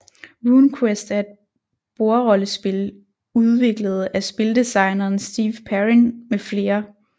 RuneQuest er et bordrollespil udviklet af spildesigneren Steve Perrin med flere